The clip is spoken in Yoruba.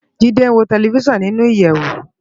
Jide n wó tèlèfisán ninú iyèwó